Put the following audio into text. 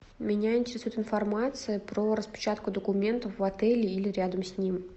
меня интересует информация про распечатку документов в отеле или рядом с ним